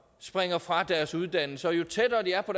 springer fra deres uddannelse og jo tættere de er på